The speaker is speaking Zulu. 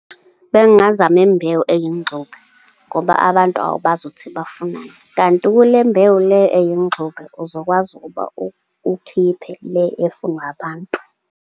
Bengingazama imbewu eyingxube, ngoba abantu awubazi ukuthi bafunani. Kanti kule mbewu le eyingxube, uzokwazi ukuba ukhiphe le efunwa abantu.